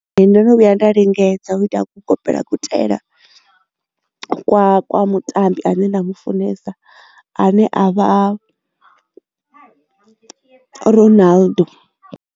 Ee ndo no vhuya nda lingedza u ita u kopela kutaela kwa mutambi ane nda mufunesa ane a vha Ronaldo.